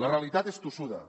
la realitat és tossuda